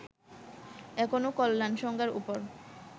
এখনও কল্যাণ সংজ্ঞার উপর